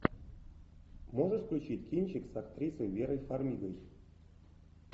можешь включить кинчик с актрисой верой фармигой